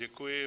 Děkuji.